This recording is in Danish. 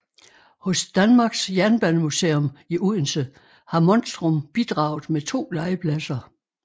Hos Danmarks Jernbanemuseum i Odense har Monstrum bidraget med to legepladser